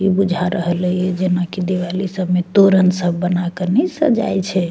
इ बुझा रहले या जना कि दिवाली सब में तोरण सब बना के ने सजाय छै।